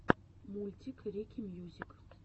мультик рики мьюзик